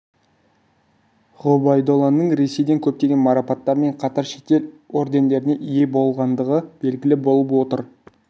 ғұбайдолланың ресейдің көптеген марапаттарымен қатар шетел ордендеріне ие болғандығы белгілі болып отыр